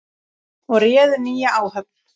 og réðu nýja áhöfn.